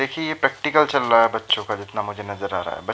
देखिए ये प्रैक्टिकल चल रहा बच्चों का जितना मुझे नज़र आ रहा है। ब --